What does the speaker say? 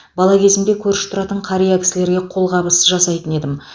бала кезімде көрші тұратын қария кісілерге қолғабыс жасайтын едім